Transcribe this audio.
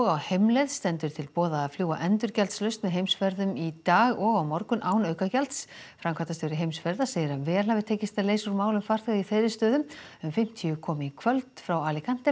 á heimleið stendur til boða að fljúga endurgjaldslaust með Heimsferðum í dag og á morgun án aukagjalds framkvæmdastjóri Heimsferða segir að vel hafi tekist að leysa úr málum farþega í þeirri stöðu um fimmtíu komi í kvöld frá